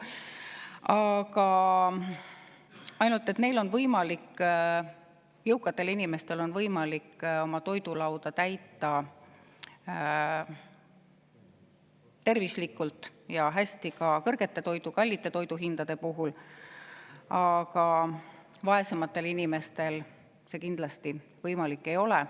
Aga jõukatel inimestel on võimalik oma toidulauda täita tervislikult ja hästi ka kõrgete toiduhindade puhul, kuid vaesematel inimestel see kindlasti võimalik ei ole.